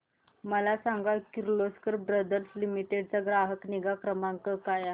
मला सांग Kirloskar brother limited चा ग्राहक निगा क्रमांक काय आहे